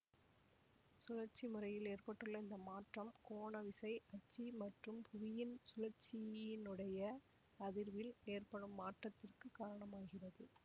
சுழற்சி முறையில் ஏற்பட்டுள்ள இந்த மாற்றம் கோண விசை அச்சு மற்றும் புவியின் சுழற்சியினுடைய அதிர்வில் ஏற்படும் மாற்றத்திற்கு காரணமாகிறது